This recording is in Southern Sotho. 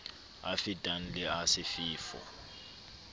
a fetang le a sefefo